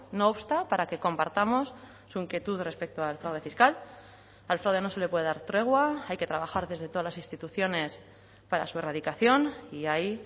no obsta para que compartamos su inquietud respecto al fraude fiscal al fraude no se le puede dar tregua hay que trabajar desde todas las instituciones para su erradicación y ahí